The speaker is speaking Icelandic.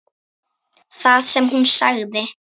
Það sem hún sagði